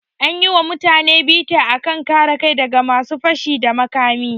An yi wa mutane bita a kan kare kai da ga masu fashi da makami.